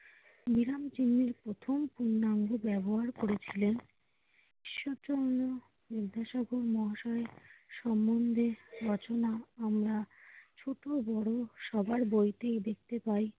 বিরাম চিহ্নের পূর্ণাঙ্গ ব্যবহার করেছিলেন। সেজন্য বিদ্যাসাগর মহাশয়ের সম্মন্ধে রচনা আমরা ছোটবড় সবাই বইতে দেখতে পাই।